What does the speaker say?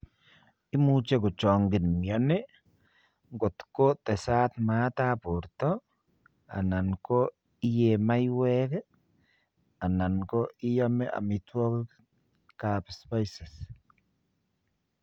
Imuche kochogin mioni kotko tesat maat ap porto alan ko iye maiwek alan iyome amitwokgikap spices.